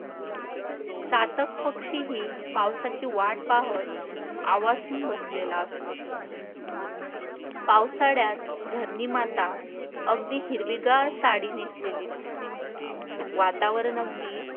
चातक पक्षी ही पावसाची वाट पाहत बसलेला असतो. पावसाळ्यात धरणी माता अगदी हिरवीगार साडी नेसलेली दिसते. वातावरण अगदी